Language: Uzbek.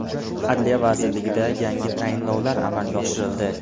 Adliya vazirligida yangi tayinlovlar amalga oshirildi.